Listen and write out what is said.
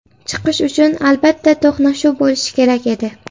Chiqish uchun, albatta, to‘qnashuv bo‘lishi kerak edi.